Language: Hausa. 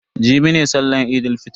Jibi ne sallan Eid fitr.